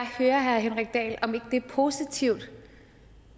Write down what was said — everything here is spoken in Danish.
høre herre henrik dahl om ikke det er positivt